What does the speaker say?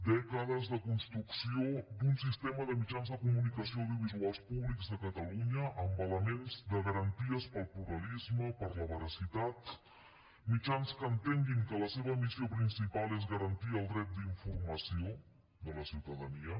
dècades de construcció d’un sistema de mitjans de comunicació audiovisuals públics de catalunya amb elements de garanties per al pluralisme per a la veracitat mitjans que entenguin que la seva missió principal és garantir el dret d’informació de la ciutadania